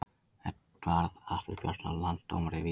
Eðvarð Atli Bjarnason Landsdómari Víðir